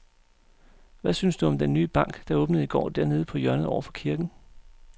Hvad synes du om den nye bank, der åbnede i går dernede på hjørnet over for kirken?